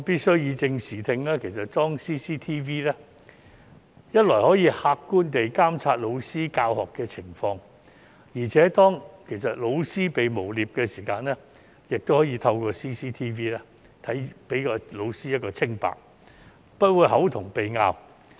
為以正視聽，我必須指出，安裝 CCTV 既可客觀地監察老師的教學情況，而且當老師被誣衊時，亦可以透過 CCTV 還老師一個清白，不會"口同鼻拗"。